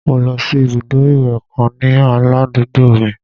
Mo lọ sí ibùdó ìwẹ̀ kan ní ládùúgbò mi